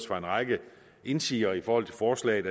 fra en række indsigeres side i forhold til forslaget